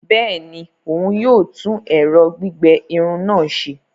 Bẹẹni, òún yóò tún ẹrọ gbigbẹ Irun náà ṣe